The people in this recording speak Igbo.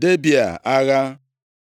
Debịa agha.